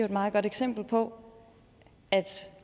et meget godt eksempel på at